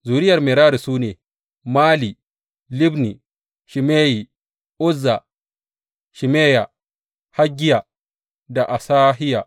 Zuriyar Merari su ne, Mali, Libni, Shimeyi, Uzza, Shimeya, Haggiya da Asahiya.